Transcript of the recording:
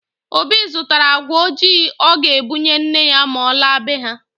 Obi zụtara agwa ojii ọ ga-ebunye nne ya ma ọ laa be ha